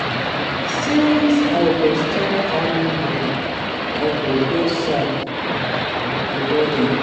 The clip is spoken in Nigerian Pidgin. Since I go start early tomorrow, I go bed sharp before ten.